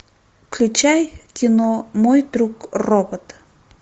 включай кино мой друг робот